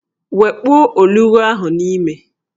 Wekpuo olughu ahụ n'ime!